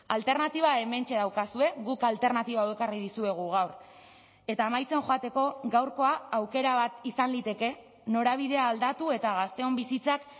alternatiba hementxe daukazue guk alternatiba hau ekarri dizuegu gaur eta amaitzen joateko gaurkoa aukera bat izan liteke norabidea aldatu eta gazteon bizitzak